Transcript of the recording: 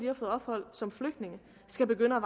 har fået ophold som flygtninge skal begynde at